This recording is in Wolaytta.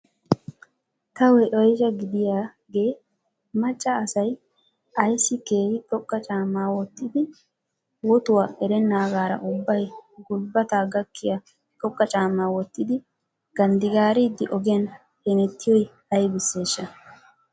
Taw oysha gidiyage macca assay ayssi keehi xoqa caamma wotidi wotuwa erennaagara ubbay gulbata gakkiya xoqa caamma wottidi ganddigaariddi oogiyan hemttiyoy aybissesha?